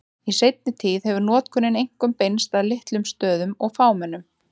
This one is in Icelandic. Í seinni tíð hefur notkunin einkum beinst að litlum stöðum og fámennum.